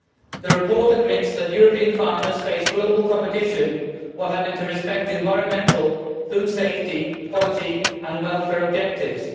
The report admits that European farmers face global competition, while having to respect environmental, food safety, quality and welfare objectives.